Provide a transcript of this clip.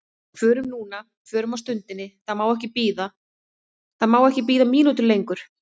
Förum núna, förum á stundinni, það má ekki bíða, það má ekki bíða mínútu lengur.